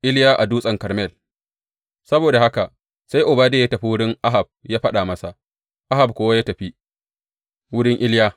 Iliya a Dutsen Karmel Saboda haka sai Obadiya ya tafi wurin Ahab ya faɗa masa, Ahab kuwa ya tafi wurin Iliya.